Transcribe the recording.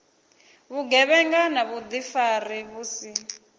vhugevhenga na vhuḓifari vhu si